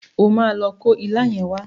O máa lo kó ilá yẹn wá.